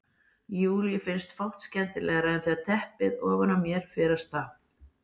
Júlíu finnst fátt skemmtilegra en þegar teppið ofan á mér fer af stað.